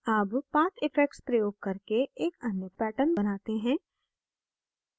अब path effects प्रयोग करके एक अन्य pattern बनाते हैं